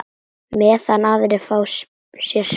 Meðan aðrir fá sér sprett?